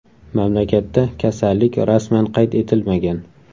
Mamlakatda kasallik rasman qayd etilmagan.